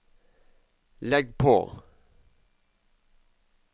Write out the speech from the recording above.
legg på